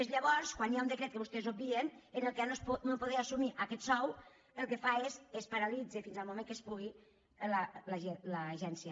és llavors quan hi ha un decret que vostès obvien en què al no poder assumir aquest sou el que fa és es paralitza fins al moment que es pugui l’agència